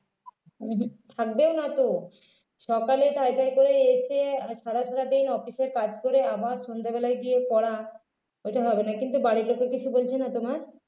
উঃ হুঁ থাকবে না তো সকালে তাড়াতাড়ি করে এসে আর সারা সারাদিন office এর কাজ করে আবার সন্ধ্যেবেলায় গিয়ে পড়া ওইটা হবে না কিন্তু বাড়িতে তো কিছু বলছে না তোমার